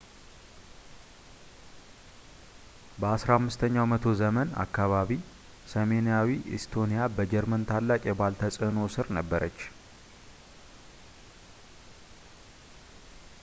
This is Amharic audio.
በ 15 ኛው መቶ ዘመን አካባቢ ሰሜናዊው ኢስቶኒያ በጀርመን ታላቅ የባህል ተጽዕኖ ሥር ነበረች